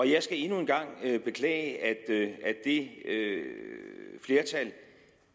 jeg skal endnu en gang beklage at det flertal